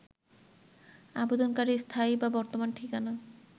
আবেদনকারীর স্থায়ী বা বর্তমান ঠিকানা